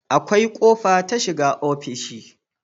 Akwai kofa ta shiga ofishi